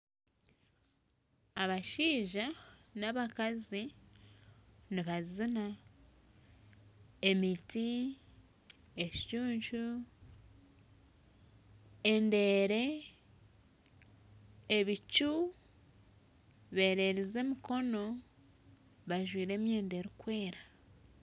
Abashaija nabakazi nibazina emiti ekicuncu endeere ebicu bereerize emikono bajwaire emyenda erikwera